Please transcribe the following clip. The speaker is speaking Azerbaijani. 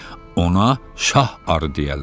Ona şah arı deyərlər.